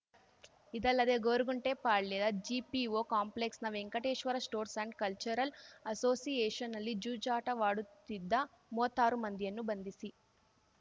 ಇದಲ್ಲದೆ ಗೊರ್ಗುಂಟೆಪಾಳ್ಯದ ಜಿಪಿಒ ಕಾಂಪ್ಲೆಕ್ಸ್‌ನ ವೆಂಕಟೇಶ್ವರ ಸ್ಪೋರ್ಟ್ಸ್ ಅಂಡ್ ಕಲ್ಚರಲ್ ಅಸೋಸಿಯೇಷನ್‌ನಲ್ಲಿ ಜೂಜಾಟವಾಡುತ್ತಿದ್ದ ಮೂವತ್ತಾರು ಮಂದಿಯನ್ನು ಬಂಧಿಸಿ